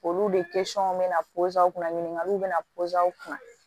Olu de bɛ na kunna ɲininkaliw bɛ na kunna